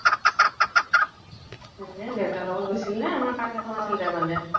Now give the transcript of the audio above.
দেউতাৰ লগত গৈছিল নে আমাৰ কাজ এখন আছিল তাৰ মানে